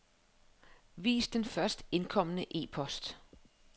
Vis den først indkomne e-post.